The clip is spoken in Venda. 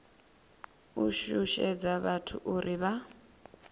u shushedza vhathu uri vha